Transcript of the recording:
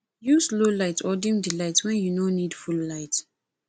use low light or dim di light when you no need full light